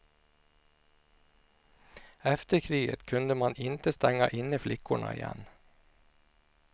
Efter kriget kunde man inte stänga inne flickorna igen.